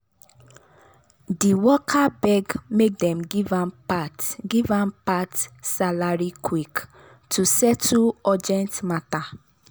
di worker beg make dem give am part give am part salary quick to take settle urgent matter.